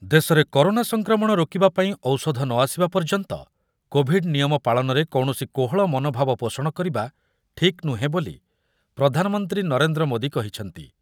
ଦେଶରେ କରୋନା ସଂକ୍ରମଣ ରୋକିବା ପାଇଁ ଔଷଧ ନ ଆସିବା ପର୍ଯ୍ୟନ୍ତ କୋଭିଡ୍ ନିୟମ ପାଳନରେ କୌଣସି କୋହଳ ମନୋଭାବ ପୋଷଣ କରିବା ଠିକ୍ ନୁହେଁ ବୋଲି ପ୍ରଧାନମନ୍ତ୍ରୀ ନରେନ୍ଦ୍ର ମୋଦି କହିଛନ୍ତି ।